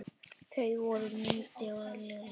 Þau voru Mundi og Lillý.